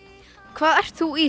hvað ert þú í